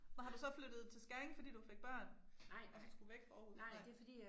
Men har du så flyttet til Skæring fordi du fik børn og så skulle væk fra Aarhus nej